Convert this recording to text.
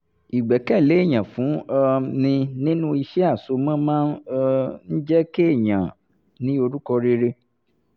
ìgbẹ́kẹ̀lé èyàn fún um ni nínú iṣẹ́ àsomọ́ máa um ń jẹ́ kéèyàn ní orúkọ rere